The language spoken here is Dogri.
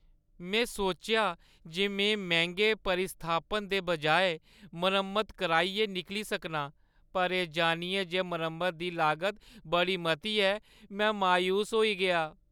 में सोचेआ जे में मैंह्‌गे प्रतिस्थापन दे बजाए मरम्मत कराइयै निकली सकनां, पर एह् जानियै जे मरम्मता दी लागत बड़ी मती ऐ, में मायूस होई गेआ।